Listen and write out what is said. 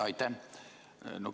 Aitäh!